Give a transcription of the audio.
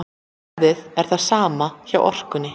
Verðið er það sama hjá Orkunni